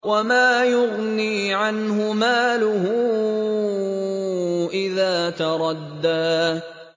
وَمَا يُغْنِي عَنْهُ مَالُهُ إِذَا تَرَدَّىٰ